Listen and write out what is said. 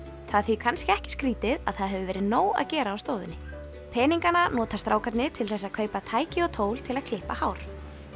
það er því kannski ekki skrítið að það hefur verið nóg að gera á stofunni peningana nota strákarnir til þess að kaupa tæki og tól til að klippa hár